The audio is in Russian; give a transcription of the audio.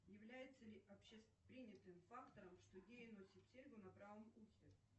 является ли общепринятым фактором что геи носят серьгу на правом ухе